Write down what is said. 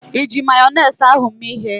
Iji Mayonezi ahụ mee ịhe?